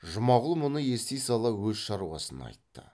жұмағұл мұны ести сала өз шаруасын айтты